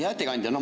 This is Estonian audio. Hea ettekandja!